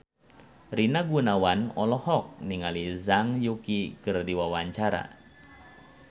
Rina Gunawan olohok ningali Zhang Yuqi keur diwawancara